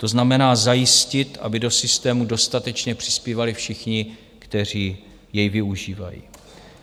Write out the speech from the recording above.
To znamená, zajistit, aby do systému dostatečně přispívali všichni, kteří jej využívají.